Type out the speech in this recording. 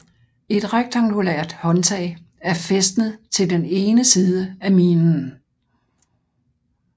Et rektangulært håndtag er fæstnet til den ene side af minen